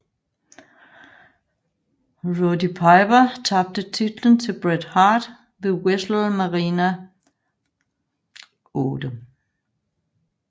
Roddy Piper tabte titlen til Bret Hart ved WrestleMania VIII